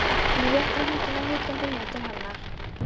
Hann réttir höndina hikandi niður til hennar.